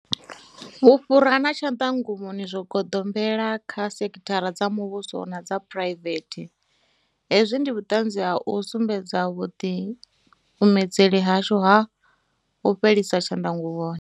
Vhufhura na tshanḓa nguvhoni zwo goḓombela kha sekhithara dza muvhuso na dza phuraivethe. Hezwi ndi vhuṱanzi ha u sumbedza vhuḓikumedzeli hashu ha u fhelisa tshanḓa nguvhoni.